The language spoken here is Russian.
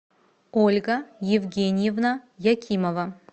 ольга евгеньевна якимова